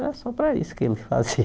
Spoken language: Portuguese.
Era só para isso que ele fazia.